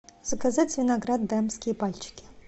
заказать виноград дамские пальчики